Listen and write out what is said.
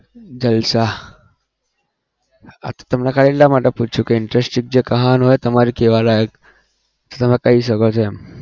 જલસા આ તો તમને ખાલી એટલા માટે પૂછ્યું કે interesting જે કહાની હોય તમારી કહેવા લાયક તો તમે કહી શકો એમ.